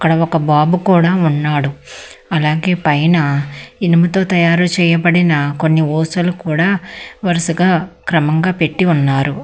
ఆడ ఒక బాబు కూడా ఉన్నాడు అలాగే పైన ఇనుముతో తయారు చేయబడిన కొన్ని హోసలు కూడా వరుసగా క్రమంగా పెట్టి ఉన్నారు.